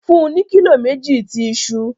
Fun u ni kilo meji ti iṣu